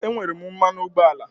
Ee, enwere m mmanụ ụgbọala.